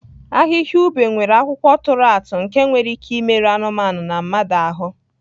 Ahịhịa ube nwere akwụkwọ tụrụ atụ nke nwere ike imerụ anụmanụ na mmadụ ahụ.